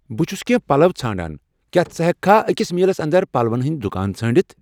بہٕ چُھس کینٛہہ پَلَو ژھانٛڑان کیا ژٕ ہیکِہ کھہ أکِس میلَس اندر پلوَن ہٕندۍ دُۄکانہٕ ژھانٛڑِتھ ؟